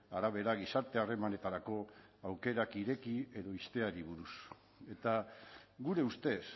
arabera gizarte harremanetarako aukerak ireki edo ixteari buruz eta gure ustez